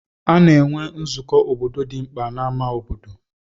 A na-enwe nzụkọ obodo dị mkpa na ámá obodo.